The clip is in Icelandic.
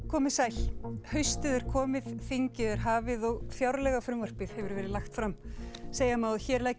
komið sæl haustið er komið þingið er hafið og fjárlagafrumvarpið hefur verið lagt fram segja má að hér leggi